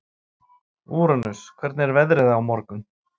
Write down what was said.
Úranus, hvernig er veðrið á morgun?